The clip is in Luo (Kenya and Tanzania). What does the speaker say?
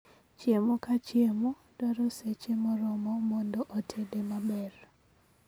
Chiemo ka chiemo dwaro seche moromo mondo otede maber